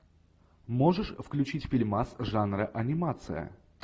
можешь включить фильмас жанра анимация